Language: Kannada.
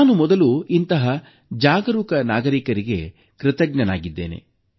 ನಾನು ಮೊದಲು ಇಂತಹ ಜಾಗರೂಕ ನಾಗರಿಕರಿಗೆ ಕೃತಜ್ಞನಾಗಿದ್ದೇನೆ